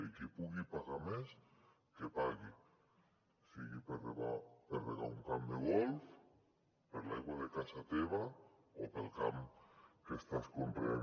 i qui pugui pagar més que pagui sigui per regar un camp de golf per l’aigua de casa teva o pel camp que estàs conreant